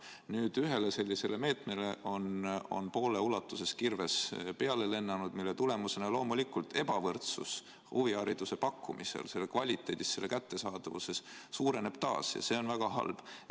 Nüüd on ühele sellisele meetmele poole ulatuses kirves peale lennanud, mille tulemusena loomulikult ebavõrdsus huvihariduse pakkumisel, selle kvaliteedis ja selle kättesaadavuses suureneb taas ning see on väga halb.